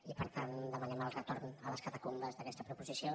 i per tant demanem el retorn a les catacumbes d’aquesta proposició